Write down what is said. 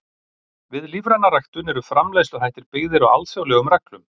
Við lífræna ræktun eru framleiðsluhættir byggðir á alþjóðlegum reglum.